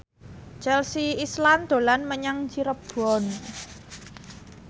Chelsea Islan dolan menyang Cirebon